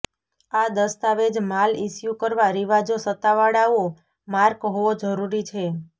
આ દસ્તાવેજ માલ ઇશ્યૂ કરવા રિવાજો સત્તાવાળાઓ માર્ક હોવો જરૂરી છે